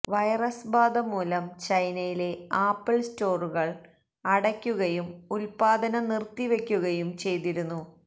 virus ബാധ മൂലം ചൈനയിലെ ആപ്പിള് സ്റ്റോറുകള് അടയ്ക്കുകയും ഉത്പാദനം നിര്ത്തിവെയ്ക്കുകയും ചെയ്തിരുന്നു